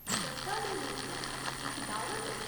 सद्या दे रूप च, इक दावत ?